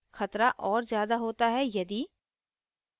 खतरा और ज़्याद होता है यदि